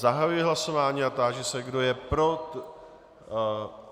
Zahajuji hlasování a táži se, kdo je pro.